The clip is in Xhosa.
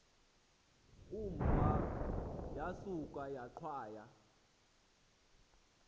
umva yasuka yaqhwaya